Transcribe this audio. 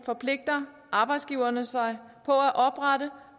forpligter arbejdsgiverne sig på at oprette